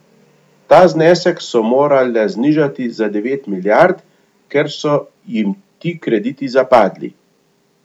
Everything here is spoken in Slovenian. Ta znesek so morale znižati za devet milijard, ker so jim ti krediti zapadli.